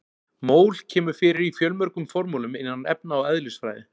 Mól kemur fyrir í fjölmörgum formúlum innan efna- og eðlisfræði.